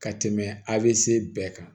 Ka tɛmɛ av bɛɛ kan